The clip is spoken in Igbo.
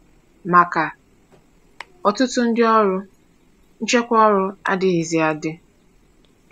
Maka ọtụtụ ndị ọrụ, nchekwa ọrụ adịghịzi adị.